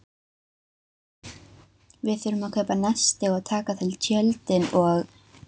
Við þurfum að kaupa nesti og taka til tjöldin og.